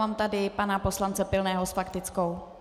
Mám tady pana poslance Pilného s faktickou.